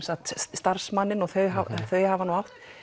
starfsmanninn og þau þau hafa nú